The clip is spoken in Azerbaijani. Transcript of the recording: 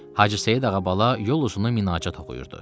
Hacı Seyid ağa bala yol uzun minacat oxuyurdu.